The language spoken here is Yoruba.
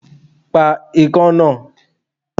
Pa ikán náà!